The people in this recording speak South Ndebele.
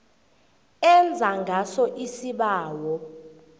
enza ngaso isibawo